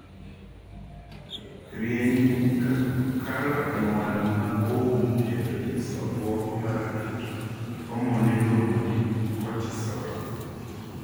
Rienyni kalo e wang' ma oum kendo nyiso obwongo mar keto homon miluongo ni cortisol.